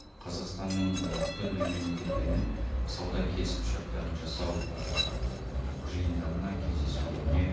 қазақстанның түрлі мемлекеттермен сауда келісімшарттарын жасау жиындарына кездесулеріне